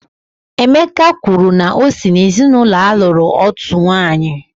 Emeka kwuru na o si n'ezinaụlọ a lụrụ otu nwanyị